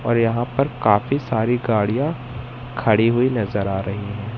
और यहां पर काफी सारी गाड़ियां खड़ी हुई नजर आ रही है।